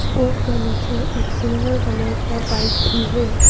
Board का नीचे एक सिल्वर कलर का बाइक भी है।